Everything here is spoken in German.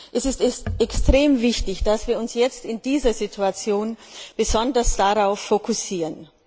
Es ist extrem wichtig, dass wir uns jetzt in dieser Situation besonders darauf konzentrieren.